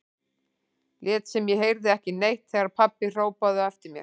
Lét sem ég heyrði ekki neitt þegar pabbi hrópaði á eftir mér.